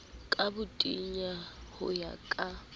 ka botenya ho ya ka